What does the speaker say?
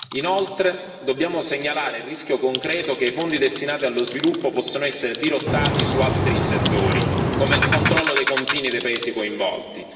Inoltre, dobbiamo segnalare il rischio concreto che i fondi destinati allo sviluppo possano essere dirottati su altri settori, come il controllo dei confini dei paesi coinvolti.